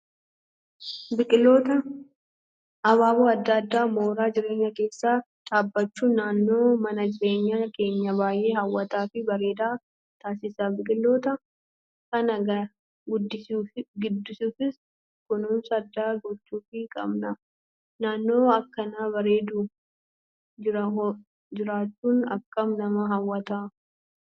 Biqiloota abaaboo adda addaa mooraa jireenyaa keessa dhaabbachuun naannoo mana jireenyaa keenya baay'ee hawwataa fi bareedaa taasisa. Biqiloota kana guddisuufis kunuunsa addaa gochuufii qabna. Naannoo akkana bareedu jiraachuun akkam nama hawwata.